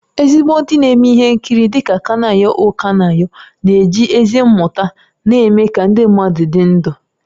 Ezigbo ndị na-eme ihe nkiri dị ka Kanayo O Kanayo na-eji ezi mmetụta na-eme ka ndị mmadụ dị ndụ